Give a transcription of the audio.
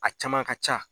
A caman ka ca